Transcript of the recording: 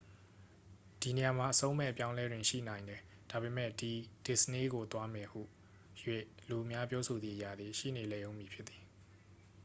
"ဒီနေရာမှာ အဆုံးမဲ့အပြောင်းအလဲတွေ ရှိနိုင်တယ်၊ ဒါပေမယ့်ဒီ "ဒစ္စနေးကိုသွားမယ်" ဟူ၍ လူအများပြောဆိုသည့်အရာသည် ရှိနေလိမ့်အုံးမည်ဖြစ်သည်။